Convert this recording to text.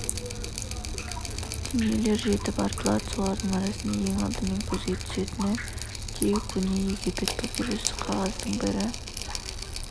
дүниелер жетіп артылады солардың арасында ең алдымен көзге түсетіні де көне египет папирусы қағаздың бір